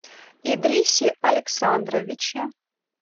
идрисе александровиче